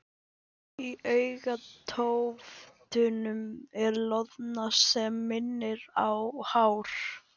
Í augntóftunum er loðna sem minnir á hár.